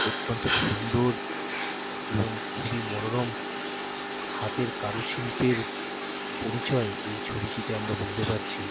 অত্যন্ত সুন্দর এবং খুবই মনোরম হাতের কারুশিল্পের পরিচয় এই ছবিটিতে আমরা বুঝতে পারছি।